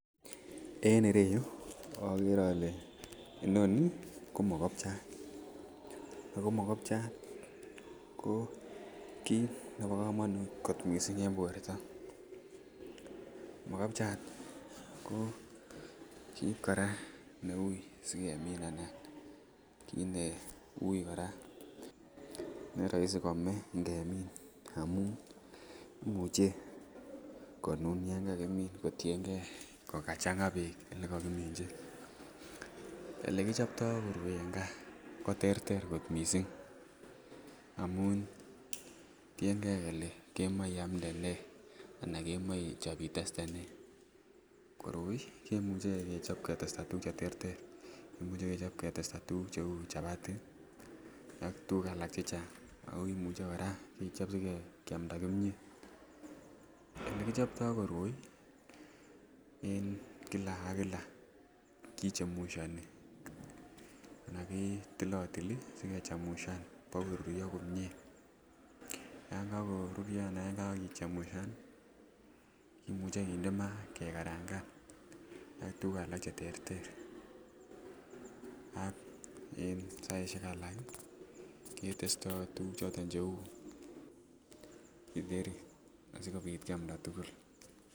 En ireyuu okere ole inoni ko mokobchat ako mikobja ko kit nebo komonut kot missing en borto mokobja ko kit Koraa neui sikemin anan kit ne ui koraa neroisi komee ngemin amun imuche konun yon kakimin kotiyengee ko kachanga beek lekokiminchi . Olekichoptoo koroi en gaa koterter kot missing amun teyengee kele kemoiniamde nee anan kemoi Ichop iteste nee. Koroi kemuche kechop kechopto tukuk cheterter, imuche kechop ketesta tukuk che chapati ak tukuk alak che Chang ak imuche Koraa kechop sikeamda kimiet olekichooto koroi en kila ak kila kichemushoni ak ketilotili ak kichemusha bo koruryo komie, yon kokoruryo anan yekakichemusha ni kimuche kinde maa kekaranga nii ak tukuk alak cheterter ak en kilasishek alak ketesto tukuk cheu kiteri asikopit kiamda tukul.